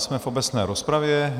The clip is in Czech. Jsme v obecné rozpravě.